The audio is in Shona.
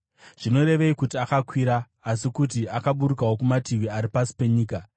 (Zvinorevei kuti “akakwira” asi kuti akaburukawo kumativi ari pasi penyika?